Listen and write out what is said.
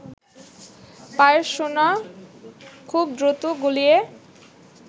পায়ের সোনা খুব দ্রুত গলিয়ে